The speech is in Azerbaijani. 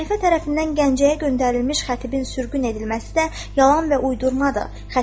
Xəlifə tərəfindən Gəncəyə göndərilmiş xətibin sürgün edilməsi də yalan və uydurmadır.